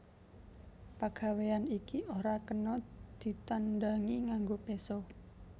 Pagawéyan iki ora kena ditandangi nganggo péso